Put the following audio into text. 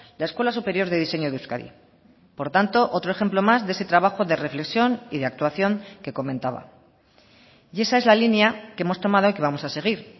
la escuela superior de diseño de euskadi por tanto otro ejemplo más de ese trabajo de reflexión y de actuación que comentaba y esa es la línea que hemos tomado y que vamos a seguir